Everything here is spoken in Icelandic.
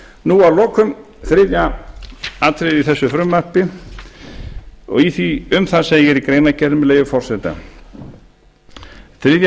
nú að lokum þriðja atriðið í þessu frumvarpi um það segir í greinargerð með leyfi forseta þriðja